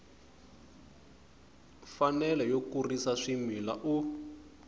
mfanelo yo kurisa swimila u